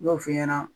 N y'o f'i ɲɛna